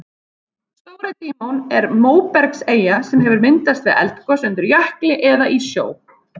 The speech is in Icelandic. Stóri-Dímon er móbergseyja sem hefur myndast við eldgos undir jökli eða í sjó.